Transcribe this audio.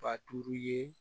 Ba duuru ye